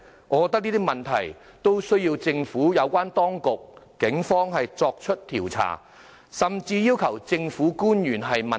我覺得這些問題都需要政府有關當局和警方作出調查，甚至要求政府官員問責。